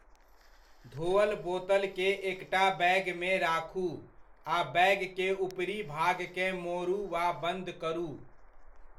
धोअल बोतल के एकटा बैगमे राखू आ बैग के ऊपरी भागकेँ मोड़ू वा बन्द करू।